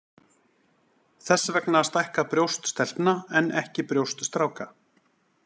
Þess vegna stækka brjóst stelpna en ekki brjóst stráka.